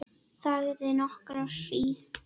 Þagði nokkra hríð.